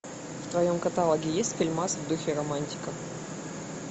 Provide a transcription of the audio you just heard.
в твоем каталоге есть фильмас в духе романтика